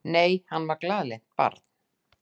Nei, hann var glaðlynt barn.